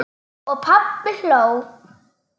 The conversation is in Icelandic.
Og pabbi hló.